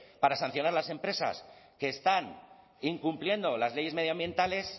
para sancionar las empresas que están incumpliendo las leyes medioambientales